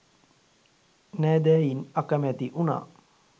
නෑදැයින් අකමැති වුණා.